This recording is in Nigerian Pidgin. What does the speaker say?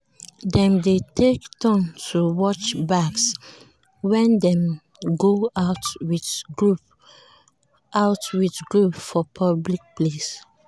dem dey take turns to watch bags when dem go out with group out with group for public place.